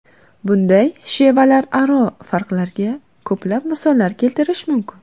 Bunday shevalararo farqlarga ko‘plab misollar keltirish mumkin.